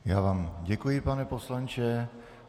Já vám děkuji, pane poslanče.